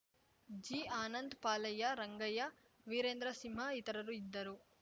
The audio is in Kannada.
ಜಿಆನಂದ್‌ ಪಾಲಯ್ಯ ರಂಗಯ್ಯ ವೀರೇಂದ್ರ ಸಿಂಹ ಇತರರು ಇದ್ದರು